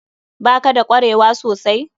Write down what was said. Ba ka da kwarewa sosai?